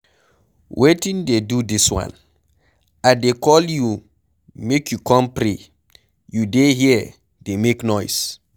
Wetin dey do dis one? I dey call you make you come pray, you dey here dey make noise.